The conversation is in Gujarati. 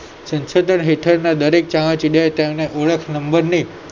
સંશોધન હેઠળનાં દરેક ચામાચિડિયાએ તેમના ઓળખ નંબરની